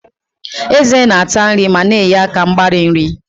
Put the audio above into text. Ezé na-ata nri ma na-enye aka mgbari nri.